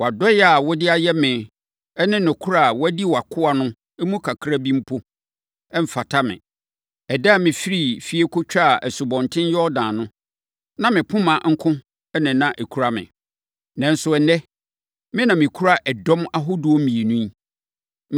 Wʼadɔeɛ a wode ayɛ me ne nokorɛ a woadi wʼakoa no mu kakra bi mpo, mfata me. Ɛda a mefirii fie kɔtwaa Asubɔnten Yordan no, na me poma nko ara na ɛkura me, nanso ɛnnɛ, me na mekura ɛdɔm ahodoɔ mmienu yi.